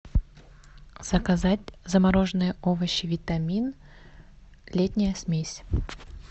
заказать замороженные овощи витамин летняя смесь